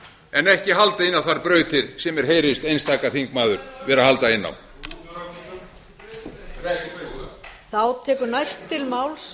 en ekki halda inn á þær brautir sem mér heyrist einstaka þingmaður vera að halda inn á